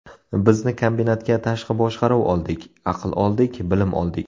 Biz kombinatga tashqi boshqaruv oldik, aql oldik, bilim oldik.